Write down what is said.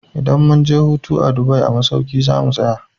Idan mun je hutu a Dubai a masauki za mu tsaya.